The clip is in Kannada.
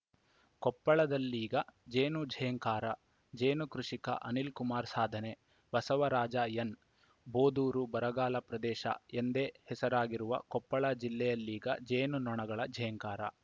ಕೊಪ್ಪಳದಲ್ಲೀಗ ಜೇನು ಝೇಂಕಾರ ಜೇನು ಕೃಷಿಕ ಅನಿಲ್‌ ಕುಮಾರ್‌ ಸಾಧನೆ ಬಸವರಾಜ ಎನ್‌ ಬೋದೂರು ಬರಗಾಲ ಪ್ರದೇಶ ಎಂದೇ ಹೆಸರಾಗಿರುವ ಕೊಪ್ಪಳ ಜಿಲ್ಲೆಯಲ್ಲೀಗ ಜೇನು ನೋಣಗಳ ಝೇಂಕಾರ